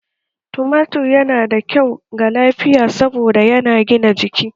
Tumatir yana da kyau ga lafiya saboda yana gina jiki